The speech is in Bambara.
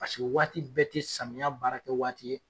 Paseke waati bɛɛ ti samiya baara kɛ waati ye.